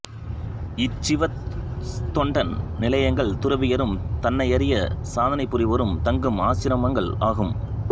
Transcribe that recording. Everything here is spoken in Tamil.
இச் சிவதொண்டன் நிலையங்கள் துறவியரும் தன்னையறியச் சாதனை புரிவோரும் தங்கும் ஆச்சிரமங்கள் ஆகும்